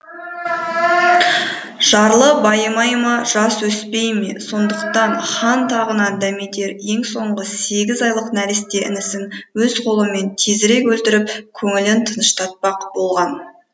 жарлы байымай ма жас өспей ме сондықтан хан тағынан дәметер ең соңғы сегіз айлық нәресте інісін өз қолымен тезірек өлтіріп көңілін тыныштатпақ болған